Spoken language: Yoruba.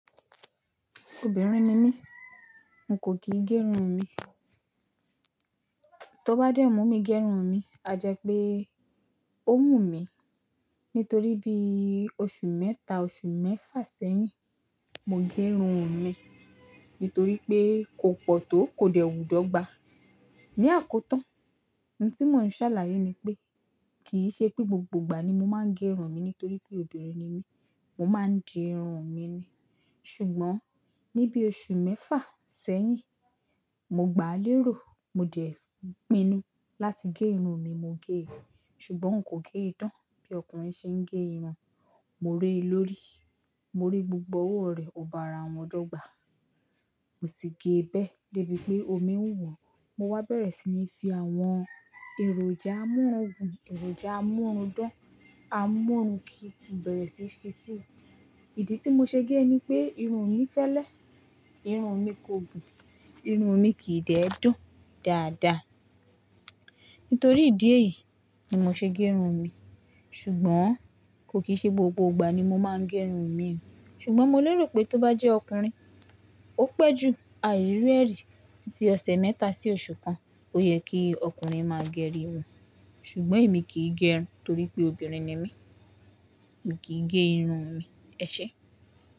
Obìnrin ni mí, n kò kìí gé irun mi. Tó bá dẹ mú mi gé irun mi, a jẹ pé ó wú mi. Nítorí bí oṣù mẹ́ta, oṣù mẹ́fà sẹ́yìn, mo gé irun mi. Nítorí pé, kò pọ̀ tó kò dẹ̀ wù dọ́gba. Ni àkótán, ohun tí mò ń ṣàlàyé ni pé, kì í ṣe pé gbogbo ìgbà ni mo máa ń gé irun mi nítorí pé obìnrin ni mí. Mo máa ń di irun mi ni. Ṣùgbọ́n ní bí oṣù mẹ́fà sẹ́yìn, mo gbà á lérò, mo dẹ̀ pinnu láti gé irun mi, mo gé e. Ṣùgbọ́n nkò gé e tán bí ọkùnrin ṣe ń gé irun. Mo ré e lórí, mo rí gbogbo owó rẹ̀, ò bá ara wọn dọ́gba. Mo sì gé e bẹ́ẹ́, dé bí pé omi ń wọ̀. Mo wá bẹ̀rẹ̀ sí ní fi àwọn èròjà amurungun, èròjà amúrundan, amúnruki mo bẹ̀rẹ̀ sí í fi sí i. Ìdí tí mo ṣe gé ni pé, irun mi fẹ́lẹ́, irun mi kò gùn, irun mi kì í dẹ̀ dùn dáadaa. Nítorí ìdí èyí ni mo ṣe gé irun mi. Ṣùgbọ́n kò kì í ṣe gbogbo ìgbà ni mo máa ń gé irun mi. Ṣùgbọ́n mo lérò pé tó bá jẹ́ ọkùnrin, ó pẹ́ ju àri iru ẹ̀ rí. Títí ọsẹ̀ mẹ́ta sí oṣù kan, ó yẹ kí ọkùnrin máa gé irun. Ṣùgbọ́n èmi kì í gé irun torí pé obìnrin ni mí. Mo kì í gé irun mi, ẹ ṣé?